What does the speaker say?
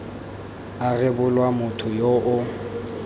a rebolwa motho yo o